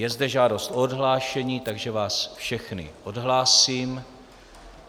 Je zde žádost o odhlášení, takže vás všechny odhlásím.